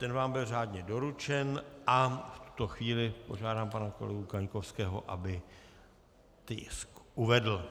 Ten vám byl řádně doručen a v tuto chvíli požádám pana kolegu Kaňkovského, aby tisk uvedl.